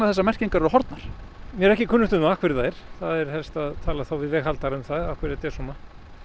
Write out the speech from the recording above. þessar merkingar eru horfnar mér er ekki kunnugt um af hverju það er það er helst að tala við veghaldarann af hverju þetta er svona